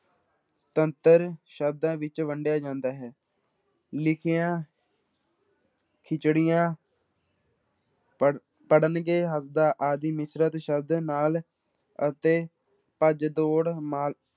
ਤੰਤਰ ਸ਼ਬਦਾਂ ਵਿੱਚ ਵੰਡਿਆ ਜਾਂਦਾ ਹੈ, ਲਿਖੀਆਂ ਖਿਚੜੀਆਂ ਪੜ੍ਹ ਪੜ੍ਹਲੀਏ ਆਦਿ ਮਿਸ਼ਰਤ ਸ਼ਬਦ ਨਾਲ ਅਤੇ ਭੱਜ ਦੌੜ